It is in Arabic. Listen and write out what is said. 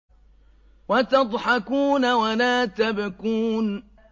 وَتَضْحَكُونَ وَلَا تَبْكُونَ